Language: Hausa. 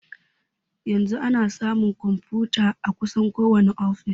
Yanzu ana samun konfutoci a kusan kowani ofis.